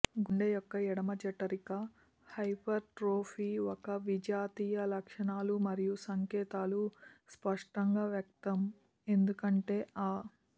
గుండె యొక్క ఎడమ జఠరిక హైపర్ట్రోఫీ ఒక విజాతీయ లక్షణాలు మరియు సంకేతాలు స్పష్టంగా వ్యక్తం ఎందుకంటే ఆ